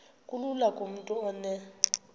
kulula kumntu onen